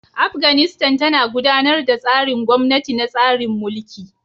Afganistan tana gudanar da tsarin gwamnati na tsarin mulki.